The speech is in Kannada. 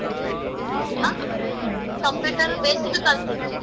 ಆ computer basic ಕಲ್ತೀನಿ.